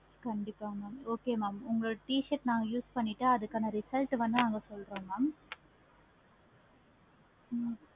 கண்டிப்பா mam okay mam t-shirt அதுக்கான result வந்து சொல்றோம் mam ஹம்